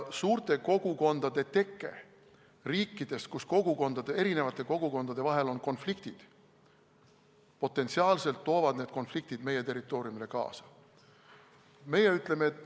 Suured kogukonnad riikidest, kus eri kogukondade vahel on konfliktid, toovad potentsiaalselt need konfliktid meie territooriumile kaasa.